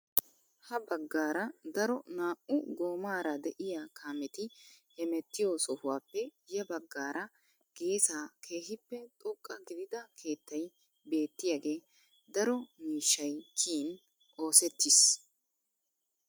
Ha baggaara daro naa"u goomaara de'iyaa kaameti hemettiyoo sohuwappe ya baggaara geessaa kehippe xoqqa gidida keettay beettiyaage daro miishshay kiyin oosettiis.